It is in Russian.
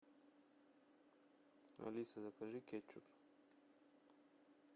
алиса закажи кетчуп